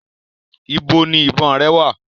Ibo ni ìbọn rẹ wà?